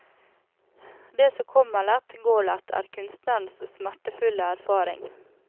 Det som kommer lett går lett, er kunstnerens smertefulle erfaring.